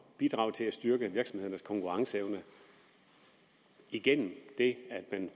bidrage til at styrke virksomhedernes konkurrenceevne igennem at man